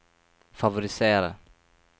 favorisere